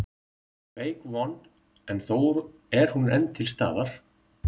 Veik von en þó er hún enn til staðar.